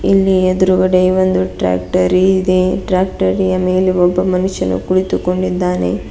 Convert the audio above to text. ಇಲ್ಲಿ ಎದ್ರುಗಡೆ ಒಂದು ಟ್ರ್ಯಾಕ್ಟರಿ ಇದೆ ಟ್ರ್ಯಾಕ್ಟರಿಯ ಮೇಲೆ ಒಬ್ಬ ಮನುಷ್ಯನು ಕುಳಿತುಕೊಂಡಿದ್ದಾನೆ.